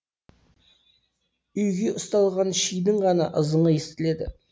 үйге ұсталған шидің ғана ызыңы естіледі